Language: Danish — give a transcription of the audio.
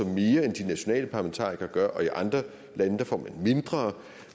mere end de nationale parlamentarikere gør og i andre lande får man mindre